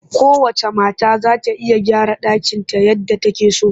Kowacce mata za ta iya gyara ɗakinta yadda take so